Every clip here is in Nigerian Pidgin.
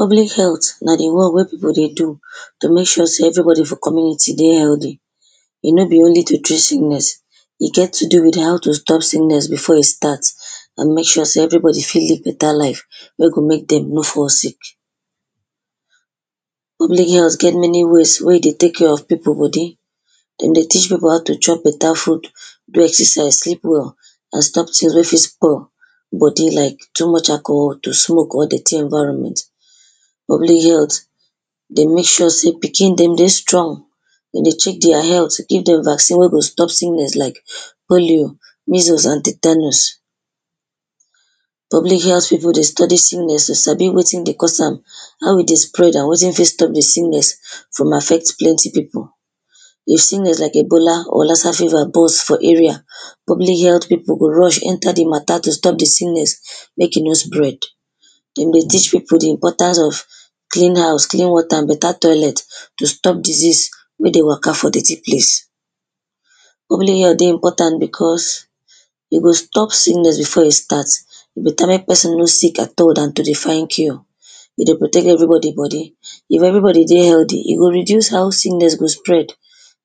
Public health na di one wey pipo dey do to mek sure sey everybody for di community dey healthy. E no be only to treat sickness e join to help dem stop sickness before e start and mek sure sey everybody fit live better life wey go mek dem no fall sick. Public health get many ways wey dey tek care of pipo body, dem dey teach pipo how to chop better food, do exercise, sleep well and stop things wey fit spoil body like too much alcohol, to smoke or dirty environment. Public health dey mek sure say pikin dem dey strong, dem dey check deir health, give dem vaccine wen go stop sickness like polio, measles and tatanius. Public health pipo dey study sicknesses, sabi wetin dey cause am, how e dey spread and wetin fit stop di sickness from affecting plenty pipo. If sickness like ebola or Lassa fever burst for area, public health pipo go rush enter di matter to stop di sickness mek e no spread, dem dey teach pipo di important for clean house, clean water and better toilet to stop disease wey dey Waka for dirty place. Public health dey important becos dem dey stop sickness before e start,e better mek person no sick at all Dan to dey find cure. We dey protect everybody body, if everybody dey healthy e go reduce how sickness go spread.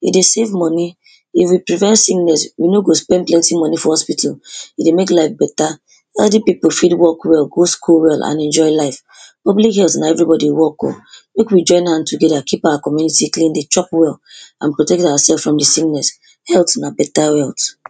E dey save money, if we prevent sickness we no go spend plenty money for hospital. E dey mek life better. Healthy pipo fit work well, go school well and enjoy life. Public health na everybody work o, mek we join hand together keep our community clean, dey chop well and protect ourselves from di sickness. Health na better wealth.